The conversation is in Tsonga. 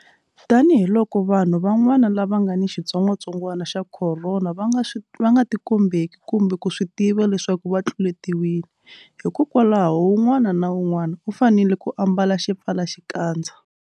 Tanihiloko vanhu van'wana lava nga ni xitsongwantsongwana xa Khorona va nga tikombeki kumbe ku swi tiva leswaku va tluletiwile, hikwalaho un'wana na un'wana u fanele ku ambala xipfalaxikandza.